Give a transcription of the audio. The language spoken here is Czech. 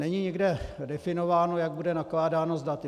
Není nikde definováno, jak bude nakládáno s daty.